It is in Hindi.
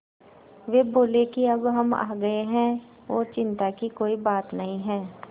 वे बोले कि अब हम आ गए हैं और चिन्ता की कोई बात नहीं है